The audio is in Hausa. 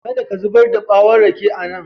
Kada ka zubar da ɓwon rake a nan.